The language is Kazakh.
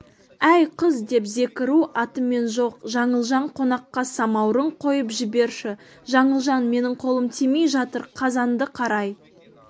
әй қыз деп зекіру атымен жоқ жаңылжан қонаққа самаурын қойып жіберші жаңылжан менің қолым тимей жатыр қазанды қарай